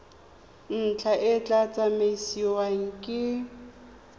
ntlha e tla tsamaisiwa ke